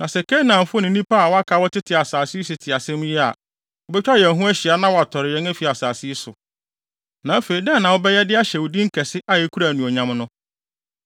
Na sɛ Kanaanfo ne nnipa a wɔaka a wɔtete asase yi so te saa asɛm yi a, wobetwa yɛn ho ahyia na wɔatɔre yɛn afi asase yi so. Na afei dɛn na wobɛyɛ de ahyɛ wo din kɛse a ekura anuonyam no?”